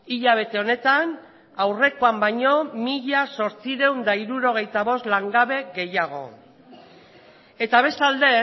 hilabete honetan aurrekoan baino mila zortziehun eta hirurogeita bost langabe gehiago eta bestalde